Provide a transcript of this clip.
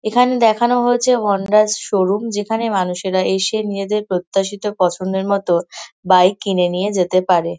এখানে দেখানো হয়েছে হণ্ডা শো রুম যেখানে মানুষেরা এসে নিজেদের প্রত্যাশিত পছন্দের মত বাইক কিনে নিয়ে যেতে পারে।